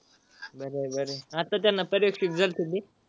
बर आहे बर आहे, आता त्यांना. पर्यवेक्षक